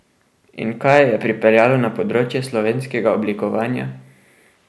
In kaj jo je pripeljalo na področje slovenskega oblikovanja?